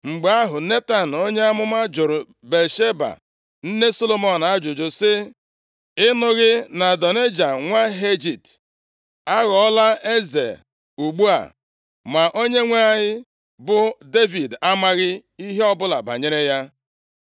Mgbe ahụ, Netan onye amụma jụrụ Batsheba nne Solomọn ajụjụ sị, “Ị nụghị na Adonaịja nwa Hagit aghọọla eze ugbu a, ma onyenwe anyị bụ Devid amaghị ihe ọbụla banyere ya?